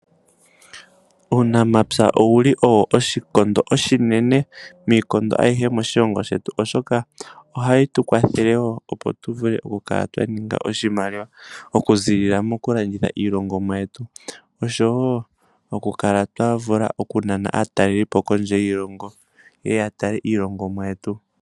Uunamapya owuli owo oshikondo oshinene miikondo ayihe moshilongo shetu oshoka ohaye tukwathele woo opo tuvule okukala twaninga oshimaliwa okuziilila mokulanditha iilongomwa yetu osho woo okukala twavula okunana aatalelipo kondje yiilongo yeye yatale iilongomwa yetu.